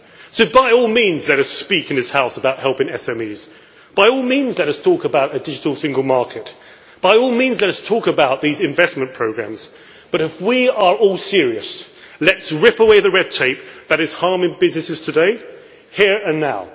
So by all means let us speak in this House about helping SMEs, by all means let us talk about a digital single market, by all means let us talk about these investment programmes, but, if we are at all serious, let us rip away the red tape that is harming businesses today, here and now.